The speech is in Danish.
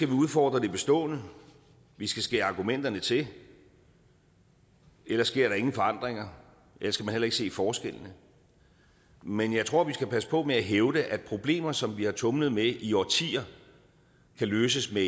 vi udfordre det bestående vi skal skære argumenterne til ellers sker der ingen forandringer og heller ikke se forskellene men jeg tror vi skal passe på med at hævde at problemer som vi har tumlet med i årtier kan løses med